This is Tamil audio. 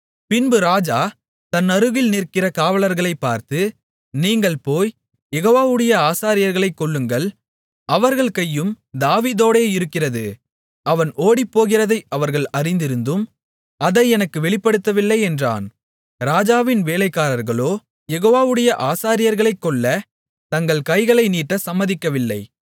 பின்பு ராஜா தன்னருகில் நிற்கிற காவலர்களை பார்த்து நீங்கள் போய் யெகோவாவுடைய ஆசாரியர்களைக் கொல்லுங்கள் அவர்கள் கையும் தாவீதோடே இருக்கிறது அவன் ஓடிப்போகிறதை அவர்கள் அறிந்திருந்தும் அதை எனக்கு வெளிப்படுத்தவில்லை என்றான் ராஜாவின் வேலைக்காரர்களோ யெகோவாவுடைய ஆசாரியர்களைக் கொல்லத் தங்கள் கைகளை நீட்ட சம்மதிக்கவில்லை